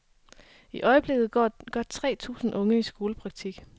I øjeblikket går godt tre tusind unge i skolepraktik.